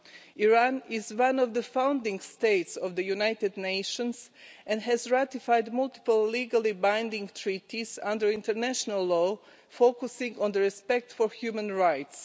Iran is one of the founding states of the United Nations, and has ratified multiple legally binding treaties under international law, focusing on respect for human rights.